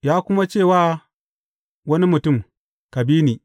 Ya kuma ce wa wani mutum, Ka bi ni.